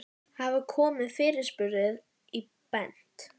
Hafa komið fyrirspurnir í Bent?